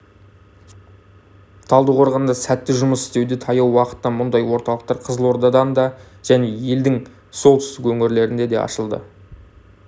талдықорғанда сәтті жұмыс істеуде таяу уақытта мұндай орталықтар қызылордада және елдің солтүстік өңірлерінде де ашылады